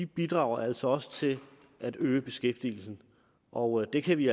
bidrager altså også til at øge beskæftigelsen og det kan vi